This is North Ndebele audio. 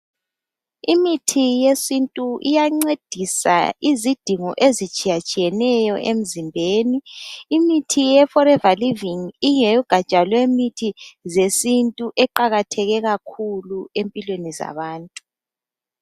Imithi yesintu iyancedisa izidingo ezitshiyatshiyeneyo emzimbeni. Imithi ye foreva livingi ingeyegatsha yemithi zesintu eqakathekileyo kakhulu empilweni zabantu.